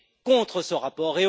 contre ce rapport